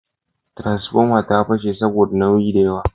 Tiransfomar ta fashe saboda nauyi da yawa